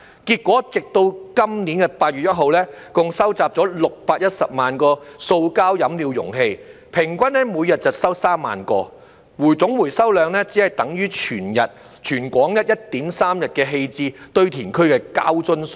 結果，直到今年8月1日，共收集了610萬個塑膠飲料容器，平均每日收集3萬個，總回收量只等於全港 1.3 日棄置堆填區的膠樽數量。